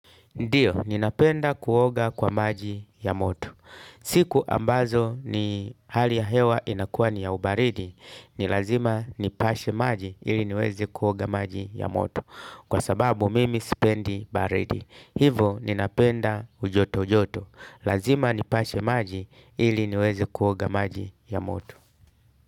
Ndiyo, ninapenda kuoga kwa maji ya moto. Siku ambazo ni hali ya hewa inakuwa ni ya ubaridi. Ni lazima nipashe maji ili niweze kuoga maji ya moto. Kwa sababu mimi sipendi baridi. Hivo ninapenda ujoto joto. Lazima nipashe maji ili niweze kuoga maji ya moto.